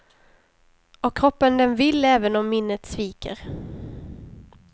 Och kroppen den vill även om minnet sviker.